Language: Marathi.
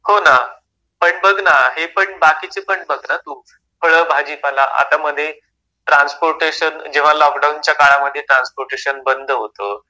हो ना, पण बघ ना, हे पण बाकीचे पण बघ ना तू. फळं, भाजीपाला आता मधे ट्रान्सपोर्टेशन जेव्हा लॉकडाऊनच्या काळामध्ये ट्रान्सपोर्टेशन बंद होतं,